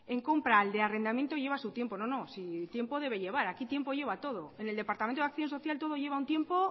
en compra al de arrendamiento lleva su tiempo no no si tiempo debe llevar aquí tiempo lleva todo en el departamento de acción social todo lleva un tiempo